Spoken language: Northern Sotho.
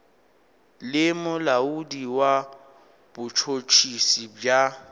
le molaodi wa botšhotšhisi bja